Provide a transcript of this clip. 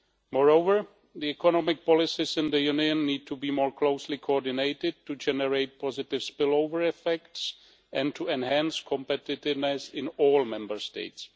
Moreover, the economic policies in the Union need to be more closely coordinated to generate positive spill over effects and to enhance competitiveness in all Member States.